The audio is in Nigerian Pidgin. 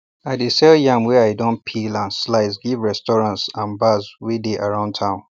i dey sell yam wey i don peel and slice give restaurants and bars wey dey around town